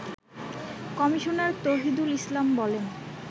commissioner Touhidul Islam বলেন